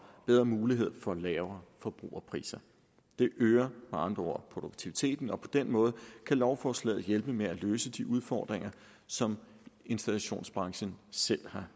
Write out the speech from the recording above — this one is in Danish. bedre mulighed for lavere forbrugerpriser det øger med andre ord produktiviteten og på den måde kan lovforslaget hjælpe med at løse de udfordringer som installationsbranchen selv